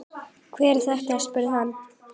Hver er þetta, spurði hann.